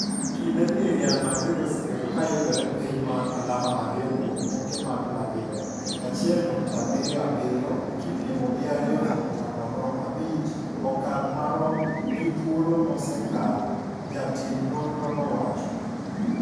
Kinde ni Real Madrid osebedo ka yudore piny mar alama ariyo kuom tuke magLa Liga (1.77) kipimo gi 2.05 okang' marom gi thuolo mosekalo," jatim nonrno no owacho.